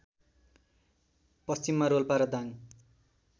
पश्चिममा रोल्पा र दाङ